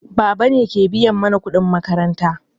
Baba ne ke biya mana kuɗin makaranta.